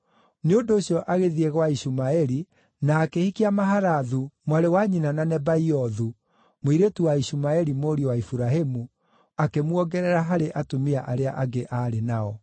nĩ ũndũ ũcio, agĩthiĩ gwa Ishumaeli na akĩhikia Mahalathu, mwarĩ wa nyina na Nebaiothu, mũirĩtu wa Ishumaeli mũriũ wa Iburahĩmu, akĩmuongerera harĩ atumia arĩa angĩ aarĩ nao.